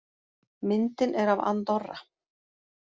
Myndin er af Andorra.